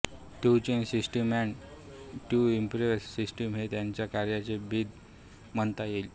to change system and to improve system हे त्यांच्या कार्याचे ब्रीद म्हणता येईल